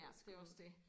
Ja det jo også det